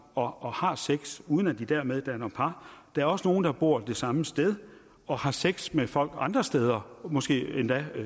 og har sex uden at de dermed danner par der er også nogle der bor det samme sted og har sex med folk andre steder måske endda